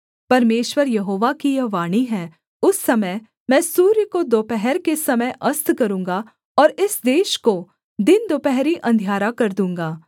परमेश्वर यहोवा की यह वाणी है उस समय मैं सूर्य को दोपहर के समय अस्त करूँगा और इस देश को दिन दुपहरी अंधियारा कर दूँगा